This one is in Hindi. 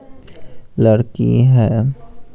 लड़की है।